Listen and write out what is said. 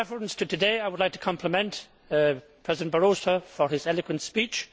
Now in reference to today, I would like to compliment President Barroso for his eloquent speech.